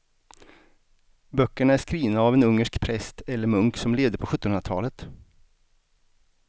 Böckerna är skrivna av en ungersk präst eller munk som levde på sjuttonhundratalet.